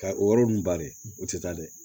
Ka o yɔrɔ ninnu bari o tɛ taa dɛ